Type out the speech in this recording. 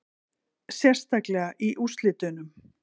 Sérstaklega í úrslitunum